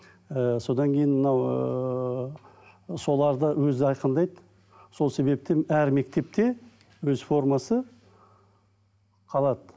ііі содан кейін мынау ыыы соларды өзі айқындайды сол себепті әр мектепте өз формасы қалады